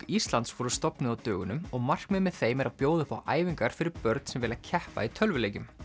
Íslands voru stofnuð á dögunum og markmiðið með þeim er að bjóða upp á æfingar fyrir börn sem vilja keppa í tölvuleikjum